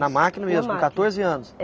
Na máquina mesmo, com quatorze anos?